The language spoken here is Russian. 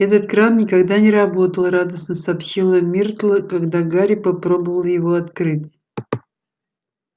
этот кран никогда не работал радостно сообщила миртл когда гарри попробовал его открыть